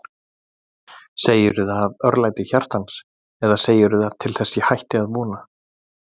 Segirðu það af örlæti hjartans eða segirðu það til þess ég hætti að vona.